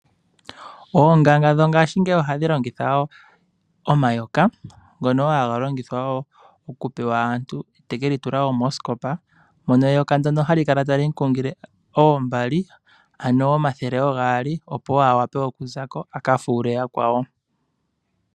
Oonganga dhongaashingeyi ohadhi longitha omayoka, ngono haga pewa aantu ya ka tule moosikopa ,go taga kungu iimaliwa yomathele oogaali, opo mwene gwalyo a ze ko ye aka fuule aantu.